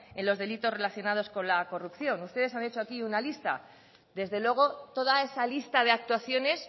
en los delitos relacionados con la corrupción ustedes han hecho aquí una lista desde luego toda esa lista de actuaciones